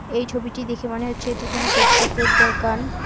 এই ছবিটি দেখে মনে হচ্ছে এটি কোন ফুটপাথ -এর দোকান।